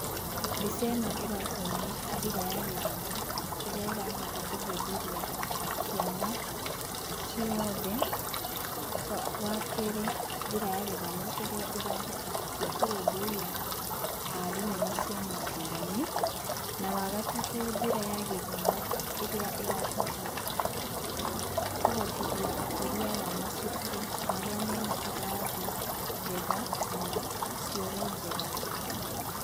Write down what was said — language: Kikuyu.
Mbica ĩno ĩratuonia njĩra ya gĩthomo, ĩrĩa ĩrahota kũhĩmbĩria ciana cioothe. Wa kerĩ, njĩra ya gĩthomo ĩrĩa ĩrahota kũrũmbũyia arimũ na ciana ngũrani. Na wa gatatũ, njĩra ya gĩthomo ĩrĩa ĩrahota kũhotithia ũkũria wa macukuru marĩa mena irathi njega na cioro njega.